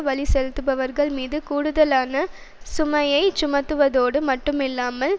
வரி செலுத்துபவர்கள்மீது கூடுதலான சுமையைச் சுமத்துவதோடு மட்டும் இல்லாமல்